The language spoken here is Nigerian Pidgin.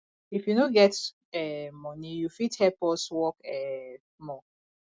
if you no get um moni you fit help us work um small